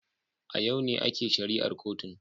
A yau ne ake shari'ar kotun